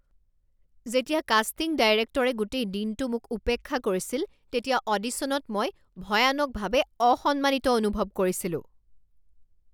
যেতিয়া কাষ্টিং ডাইৰেক্টৰে গোটেই দিনটো মোক উপেক্ষা কৰিছিল তেতিয়া অডিচনত মই ভয়ানকভাৱে অসম্মানিত অনুভৱ কৰিছিলোঁ।